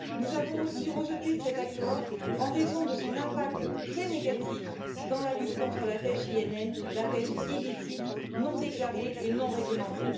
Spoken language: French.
Nous avons aussi rejeté cet accord en raison de son impact très négatif dans la lutte contre la pêche INN la pêche illicite, non déclarée et non réglementée.